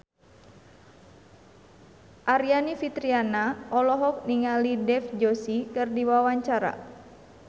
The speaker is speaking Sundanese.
Aryani Fitriana olohok ningali Dev Joshi keur diwawancara